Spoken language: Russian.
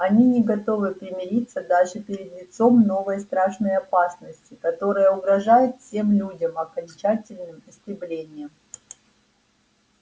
они не готовы примириться даже перед лицом новой страшной опасности которая угрожает всем людям окончательным истреблением